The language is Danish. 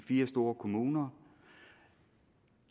fire store kommuner